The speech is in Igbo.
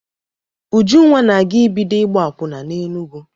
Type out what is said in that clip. Ujunwa na-aga ibido ịgba akwụna n'Enugwu.